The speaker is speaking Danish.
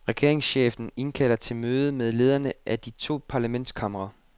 Regeringschefen indkalder til møder med lederne af de to parlamentskamre.